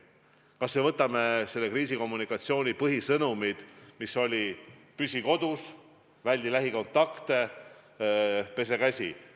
Võtame kas või selle kriisikommunikatsiooni põhisõnumid, mis on olnud: püsi kodus, väldi lähikontakte, pese käsi!